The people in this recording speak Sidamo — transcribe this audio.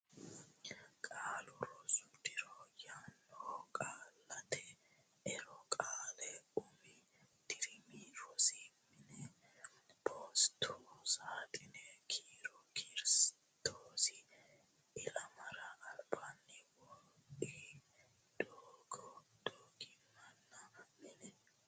Qaalu Rosu Diro yaannoho Qaallate Ero Qaale Umi Dirimi Rosi Mine Postu Saaxine Kiiro Kirstoosi Ilamara Albaanni Wodiidi Doga Dagoominna Manni.